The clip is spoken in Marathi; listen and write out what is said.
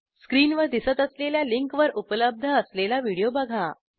स्क्रीनवर दिसत असलेल्या लिंकवर उपलब्ध असलेला व्हिडिओ बघा